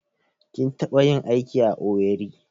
Kin taɓa yin aiki a Owerri?